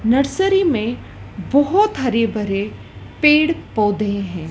Nursery में बहुत हरे भरे पेड़ पौधे हैं।